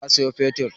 Za a sayo fetur.